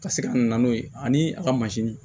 Ka se ka na n'o ye ani a ka